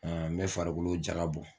Me farikolo jaka bɔ